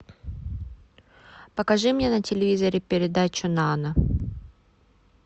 покажи мне на телевизоре передачу нано